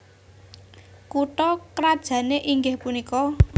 Kutha krajané inggih punika